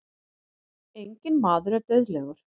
Enginn maður er dauðlegur.